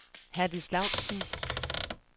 Herdis Laustsen